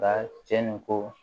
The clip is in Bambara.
Ka cɛnni ko